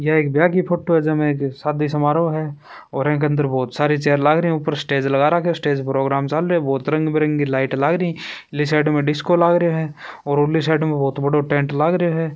यह एक ब्याह की फोटो हैं जे में एक शादी समारोह है और एक अंदर बहुत सारी चेयर लाग री हैं ऊपर स्टेज लगा रखा हैं स्टेज प्रोग्राम चाल रहा हैं बहुत रंग बिरंगी लाइट लाग री उरली साइड में डिस्को लाग रा है और उरली साइड में बहुत बड़ो टैंट लाग रा हैं।